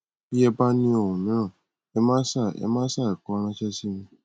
bí ẹ bá ní ohun mìíràn ẹ má ṣàì ẹ má ṣàì kọ ráńṣẹ sí mi